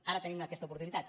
ara tenim aquesta oportunitat